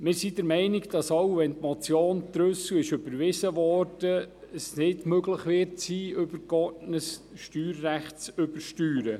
Wir sind der Meinung, dass wenngleich die Motion Trüssel überwiesen wurde, es nicht möglich sein wird, übergeordnetes Steuerrecht zu übersteuern.